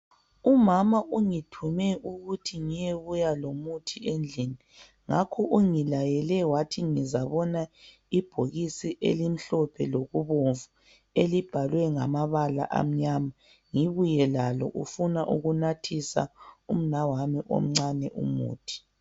Umama ungithume ukuthi ngiyebuya lomuthi endlini. Ngakho ungilayele wathi nguzabona ibhokisi elimhlophe lokubomvu elibhalwe ngamabala amnyama, ngibuye lalo ufuna ukunathisa umnawami umuthi.